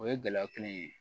O ye gɛlɛya kelen ye